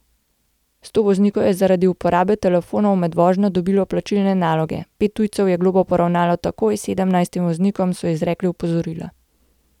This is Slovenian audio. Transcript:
Sto voznikov je zaradi uporabe telefonov med vožnjo dobilo plačilne naloge, pet tujcev je globo poravnalo takoj, sedemnajstim voznikom so izrekli opozorila.